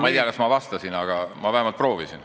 Ma ei tea, kas ma vastasin, aga ma vähemalt proovisin.